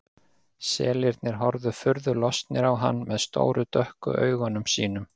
Selirnir horfa furðu lostnir á hann með stóru dökku augunum sínum.